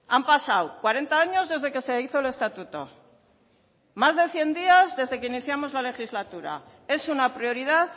han pasado cuarenta años desde que se hizo el estatuto más de cien días desde que iniciamos la legislatura es una prioridad